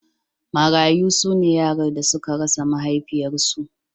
Marayu su ne yaran da suka rasa mahaifiyarsu.